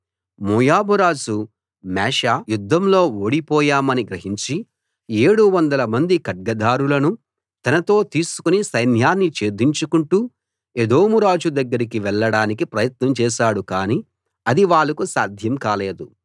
మోయాబు రాజు మేషా యుద్ధంలో ఓడిపోయామని గ్రహించి ఏడువందల మంది ఖడ్గధారులను తనతో తీసుకుని సైన్యాన్ని ఛేదించుకుంటూ ఎదోము రాజు దగ్గరికి వెళ్ళడానికి ప్రయత్నం చేశాడు కాని అది వాళ్ళకు సాధ్యం కాలేదు